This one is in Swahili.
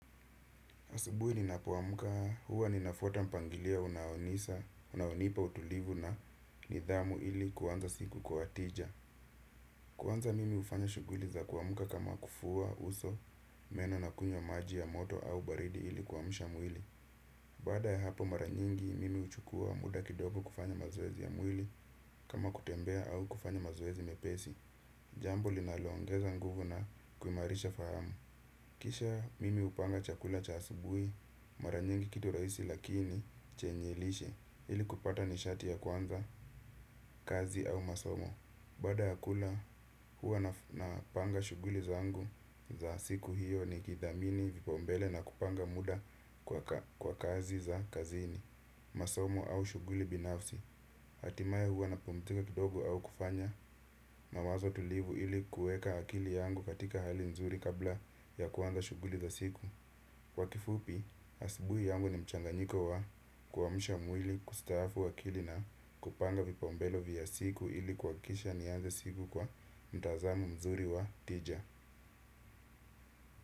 Asubuhi ninapoamuka huwa ninafuata mpangilia unaonisa, unaonipa utulivu na nidhamu ili kuanza siku kwa tija. Kuanza mimi hufanya shughuli za kuamuka kama kufua uso meno na kunywa maji ya moto au baridi ili kuamsha mwili. Baada ya hapo maranyingi mimi huchukua muda kidogo kufanya mazoezi ya mwili kama kutembea au kufanya mazoezi mepesi. Jambo linaloongeza nguvu na kuhimarisha fahamu. Kisha mimi hupanga chakula cha asubuhi maranyingi kitu rahisi lakini chenye lishe ili kupata nishati ya kuanza, kazi au masomo. Baada ya kula huwa napanga shughuli zangu za siku hiyo nikidhamini vipaumbele na kupanga muda kwa kazi za kazini, masomo au shughuli binafsi. Hatimaye huwa napumzika kidogo au kufanya mawazo tulivu ili kueka akili yangu katika hali nzuri kabla ya kuanza shughuli za siku. Kwa kifupi, asubuhi yangu ni mchanganyiko wa kuamsha mwili kustaafu akili na kupanga vipaumbele vya siku ili kuhakikisha nianze siku kwa mtazamo mzuri wa tija.